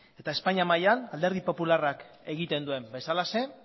eta espainia mailan alderdi popularrak egiten duen bezalaxe